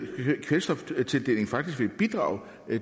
kvælstoftildeling faktisk vil bidrage